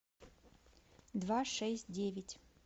два шесть девять